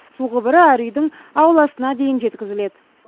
су құбыры әр үйдің ауласына дейін жеткізіледі